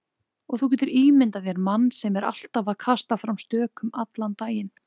Og þú getur ímyndað þér mann sem er alltaf að kasta fram stökum allan daginn.